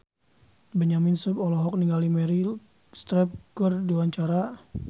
Benyamin Sueb olohok ningali Meryl Streep keur diwawancara